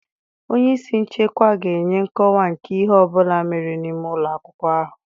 Onye isi nchekwa ga-enye nkọwa nke ihe ọ bụla mere n'ime ụlọ akwụkwọ ahụ.